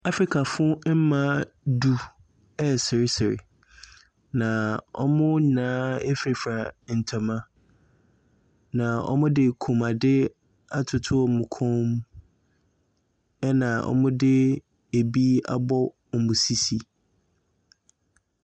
Africafo mmaa du reseresere na wɔn nyinaa furafura ntama. Na wɔde kook ade atoto wɔn koom. Ɛna wɔde ebi abɔ wɔn sisi.